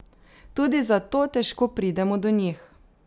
Tudi zato težko pridemo do njih.